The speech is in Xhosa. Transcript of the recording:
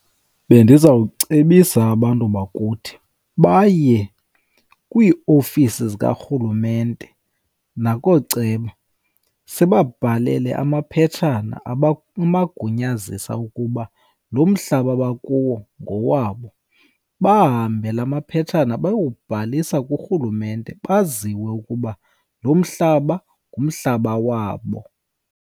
Bendizawucebisa abantu bakuthi baye kwiiofisi zikarhulumente nakooceba sibabhalele amaphetshana ukuba lo mhlaba bakuyo ngowabo. Bahambe laa maphetshana bayobhalisa kurhulumente baziwe ukuba lo mhlaba, ngumhlaba wabo.